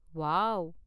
Wow.